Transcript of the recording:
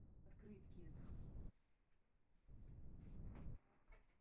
открытки